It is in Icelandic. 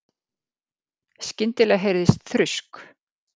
Skyndilega heyrðist þrusk.